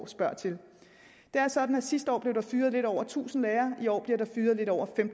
spørger til det er sådan sidste år blev fyret lidt over tusind lærere i år bliver der fyret lidt over en